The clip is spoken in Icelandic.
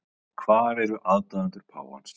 Hvar eru aðdáendur páfans